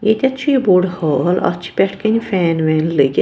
.ییٚتٮ۪ھ چُھ یہِ بوٚڑہال اَتھ چھ پٮ۪ٹھہٕ کنہِ فین وین لٲگِتھ